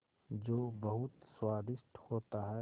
जो बहुत स्वादिष्ट होता है